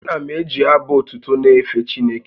Ana m eji abụ otuto na-efe Chineke